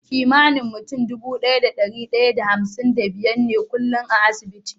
Kimanin mutane Dubu biyu da dari daya da hamsin da biyar ne kullun a asibiti